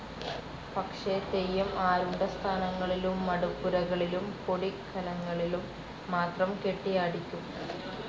പക്ഷെ തെയ്യം ആരൂഢസ്ഥാനങ്ങളിലും മടപ്പുരകളിലും, പൊടിക്കലങ്ങളിലും മാത്രം കെട്ടിയാടിക്കും.